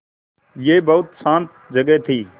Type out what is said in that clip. यह बहुत शान्त जगह थी